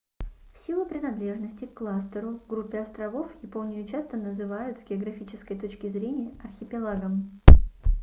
в силу принадлежности к кластеру/группе островов японию часто называют с географической точки зрения архипелагом